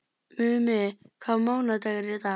Mummi, hvaða mánaðardagur er í dag?